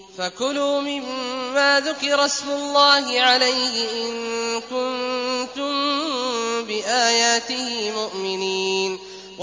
فَكُلُوا مِمَّا ذُكِرَ اسْمُ اللَّهِ عَلَيْهِ إِن كُنتُم بِآيَاتِهِ مُؤْمِنِينَ